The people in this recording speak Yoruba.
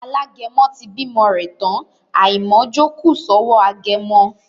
Alágẹmọ ti bímọ rẹ̀ tán, àìmọ̀ọ́jó kù sọ́wọ́ agẹmọ